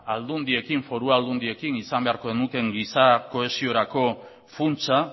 aldundiekin foru aldundiekin izan beharko genukeen giza kohesiorako funtsa